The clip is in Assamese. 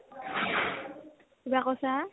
কিবা কৈছা ?